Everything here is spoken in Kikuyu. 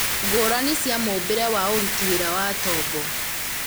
ngũrani cia mũũmbire na ũruti wĩra wa tombo